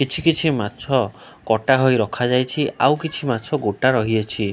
କିଛି କିଛି ମାଛ କଟା ହୋଇ ରଖାଯାଇଛି ଆଉ କିଛି ମାଛ ଗୋଟା ରହିଅଛି।